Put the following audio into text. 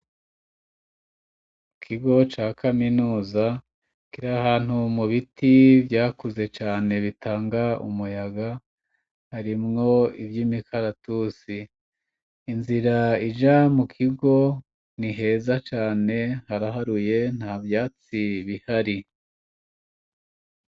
Ikigo ca kaminuza kirahantu mu biti vyakuze cane bitanga umuyaga harimwo ivyimikaratusi, inzira ija mu kigo ni heza cane haraharuye nta vyatsi bihari.